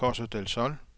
Costa del Sol